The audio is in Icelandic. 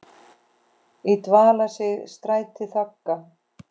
í dvala sig strætin þagga.